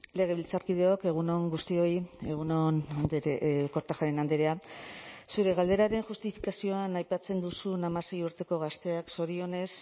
legebiltzarkideok egun on guztioi egun on kortajarena andrea zure galderaren justifikazioan aipatzen duzun hamasei urteko gazteek zorionez